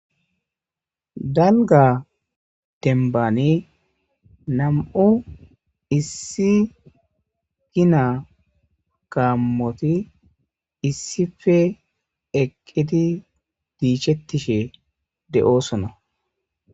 Dalga tembani nam7u issi gina kaammoti issife eqqidi diichettishe de7oosona.